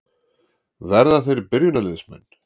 Verða þeir byrjunarliðsmenn?